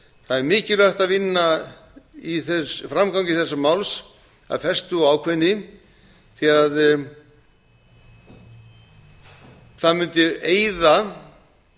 það er mikilvægt að vinna að framgangi þessa máls af festu og ákveðni því það mundi eyða